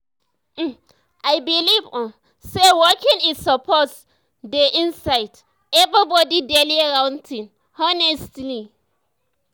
um i believe um say walking e suppose dey inside um everybody daily routine honestly.